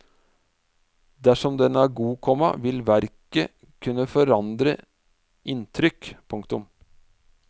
Dersom den er god, komma vil verket kunne forandre inntrykk. punktum